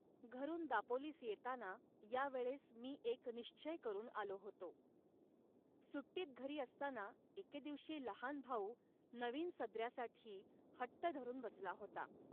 घरून दापोलीस येताना या वेळेस मी एक निश्चय करून आलो होतो. सुट्टीत घरी असताना एके दिवशी लहान भाऊ नवीन सदऱ्यासाठी हट्ट धरून बसला होता